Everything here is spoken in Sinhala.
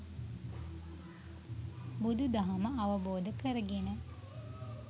බුදු දහම අවබෝධ කරගෙන